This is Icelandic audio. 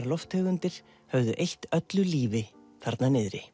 lofttegundir höfðu eytt öllu lífi þarna niðri